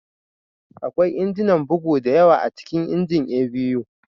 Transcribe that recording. Akwai injinan bugu da yawa a cikin injin A.B.U